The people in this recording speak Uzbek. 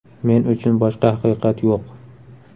Men uchun boshqa haqiqat yo‘q”.